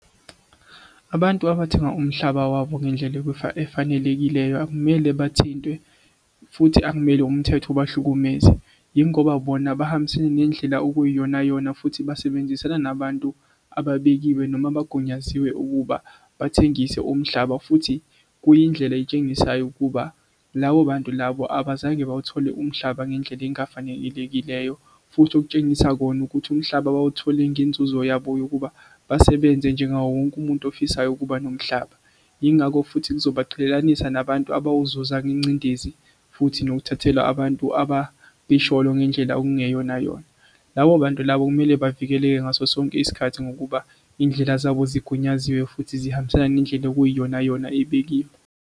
Abantu abathenga umhlaba wabo ngendlela efanelekileyo akumele bathinte futhi akumele umthetho ubahlukumeze yingoba bona bahambisene nendlela okuyiyonayona futhi basebenzisana nabantu ababekiwe noma bagunyaziwe ukuba bathengise umhlaba futhi kuyindlela etshengisayo ukuba labo bantu labo abazange bawuthole umhlaba ngendlela engafanelekileyo. Futhi okutshengisa kona ukuthi umhlaba bawuthole ngenzuzo yabo yokuba basebenze njengawo wonke umuntu ofisayo ukuba nomhlaba. Yingakho futhi kuzobaqhelelanisa nabantu abawuzuza ngencindezi futhi nokuthathela abantu ngendlela okungeyonayona. Labo bantu labo kumele bavikeleke ngaso sonke isikhathi ngokuba iy'ndlela zabo sigunyaziwe futhi zihambisane nendlela okuyiyonayona ebekiwe.